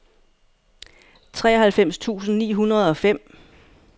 treoghalvfems tusind ni hundrede og fem